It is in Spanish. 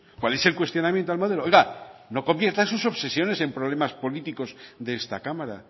cuál es el cuestionamiento al modelo oiga no conviertan sus obsesiones en problemas políticos de esta cámara